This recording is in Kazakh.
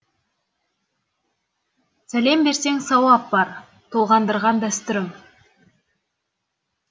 сәлем берсең сауап бар толғандырған дәстүрім